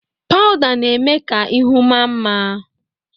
Pawụda na-eme ka ihu maa mma.